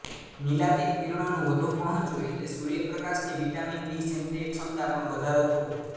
નીલાતીત કિરણોનું વધુ પહોંચવું એટલે સૂર્યપ્રકાશની વિટામિન ડી સેન્દ્રિય ક્ષમતા પણ વધારો થવો